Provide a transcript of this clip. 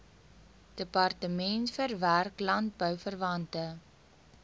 departement verwerk landbouverwante